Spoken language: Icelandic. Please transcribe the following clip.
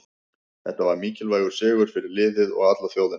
Þetta var mikilvægur sigur fyrir liðið og alla þjóðina.